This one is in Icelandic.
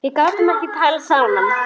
Við gátum ekki talað saman.